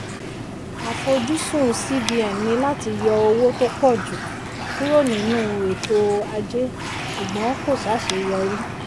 àfojúsùn cbn ni láti yọ owó tó pọ̀ jù kúrò nínú ètò ajé ṣùgbọ́n kò ṣàṣeyọrí.